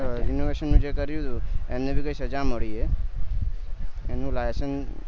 renovation નું જે કર્યું હતું એમને ભી સજા મળી હે એમનું licence